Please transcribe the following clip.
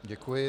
Děkuji.